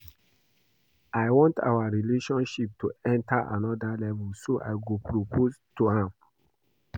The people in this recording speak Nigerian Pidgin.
I want our relationship to enter another level so I go propose to am